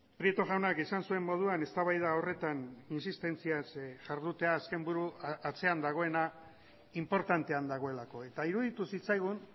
prieto jaunak esan zuen moduan eztabaida horretan insistentziaz jardutea azken buru atzean dagoena inportantean dagoelako eta iruditu zitzaigun